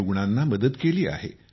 रुग्णांना मदत केली आहे